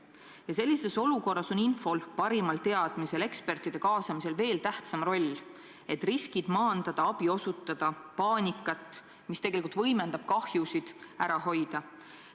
Ja sellises olukorras on infol, parimatel teadmistel, ekspertide kaasamisel veel tähtsam roll, et riskid maandada, abi osutada ja paanikat, mis tegelikult võimendab kahjusid, ära hoida.